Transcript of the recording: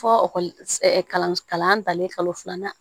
Fɔkɔli ɛ kalan danlen kalo filanan